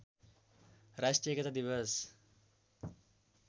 राष्ट्रिय एकता दिवस